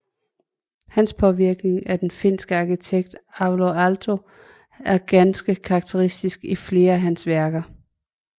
Hans påvirkning af den finske arkitekt Alvar Aalto er ganske karakteristisk i flere af hans værker